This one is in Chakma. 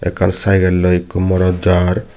ekkan cykelloi ikko morot jaar.